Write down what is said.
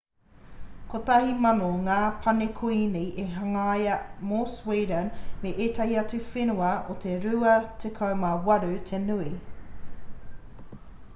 1,000 ngā pane kuini i hangaia mō sweeden me ētahi atu whenua e 28 te nui